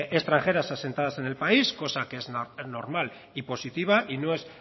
extranjeras asentadas en el país cosa que es normal y positiva y no es